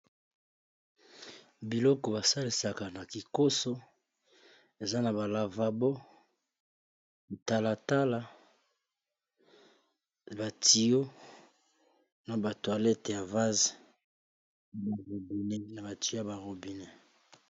Biloko basalisaka na kikoso, eza na ba lavabo talatala ba tiyo na ba toilette ya vaze na ba tiyo ya ba robine. .